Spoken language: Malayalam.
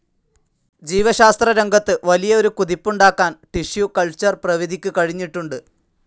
ജീവശാസ്ത്രരംഗത്ത് വലിയ ഒരു കുതിപ്പുണ്ടാക്കാൻ ടിഷ്യൂ കൾച്ചർ പ്രവിധിക്ക് കഴിഞ്ഞിട്ടുണ്ട്.